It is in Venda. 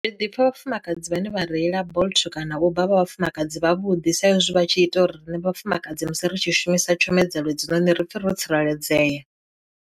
Ndi ḓipfa vhafumakadzi vhane vha reila bolt kana uber vha vhafumakadzi vhavhuḓi saizwi vha tshi ita uri riṋe vhafumakadzi musi ri tshi shumisa tshomedzo hedzinoni ri pfe ro tsireledzea.